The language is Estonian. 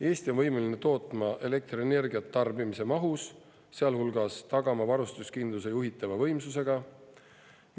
Eesti on võimeline tootma elektrienergiat tarbimise mahus, sealhulgas tagama varustuskindluse juhitava võimsusega.